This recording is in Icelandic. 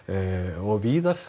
og víðar